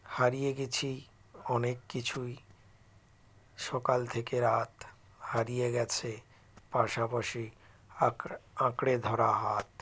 হারিয়ে গেছি অনেক কিছুই সকাল থেকে রাত হারিয়ে গেছে পাশাপাশি আঁকরে আঁকরে ধরা হাত